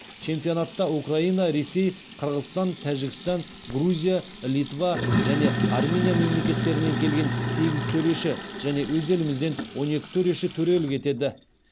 чемпионатта украина ресей қырғызстан тәжікстан грузия литва және армения мемлекеттерінен келген сегіз төреші және өз елімізден он екі төреші төрелік етеді